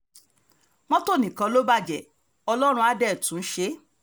mọ́tò nìkan ló bàjẹ́ ọlọ́run àá dé tún un ṣe